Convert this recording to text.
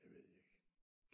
Det ved jeg ikke